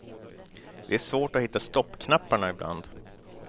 Det är svårt att hitta stoppknapparna ibland.